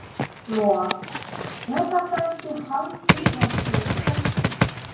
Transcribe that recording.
Lóa: En er þetta ekki hálf tilgangslaus kosning?